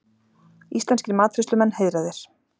Íslenskir matreiðslumenn heiðraðir